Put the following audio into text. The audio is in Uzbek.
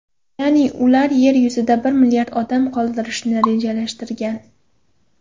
Ya’ni ular Yer yuzida bir milliard odam qoldirishni rejalashgan.